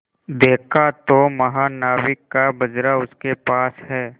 देखा तो महानाविक का बजरा उसके पास है